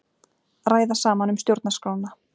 Ræða saman um stjórnarskrána